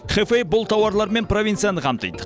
хэфэй бұл тауарларымен провинцияны қамтиды